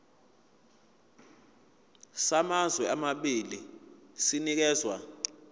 samazwe amabili sinikezwa